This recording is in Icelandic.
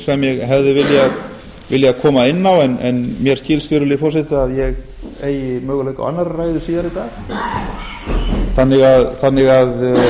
ég hefði viljað koma inn á en mér skilst virðulegi forseti að ég eigi möguleika á annarri ræðu síðar í dag þannig að